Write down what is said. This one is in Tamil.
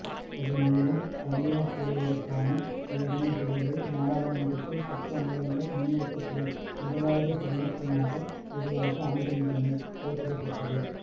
இதன் மூலம் தனியார் துறையினருக்கான வேதனம் தொடர்பில் நாடாளுமன்றத்தில் சட்ட மூலங்கள் முன்வைக்கப்படும் முதலாவது சந்தர்ப்பமாக இதுவாக அமைகின்றமை குறிப்பிடத்தக்ககது